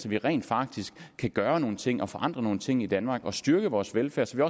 vi rent faktisk kan gøre nogle ting og forandre nogle ting i danmark og styrke vores velfærd så